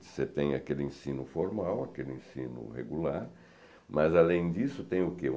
Você tem aquele ensino formal, aquele ensino regular, mas, além disso, tem o que?